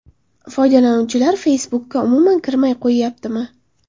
Foydalanuvchilar Facebook’ga umuman kirmay qo‘yyaptimi?